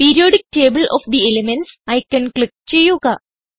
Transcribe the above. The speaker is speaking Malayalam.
periodic table of the elements icon click ചെയ്യുക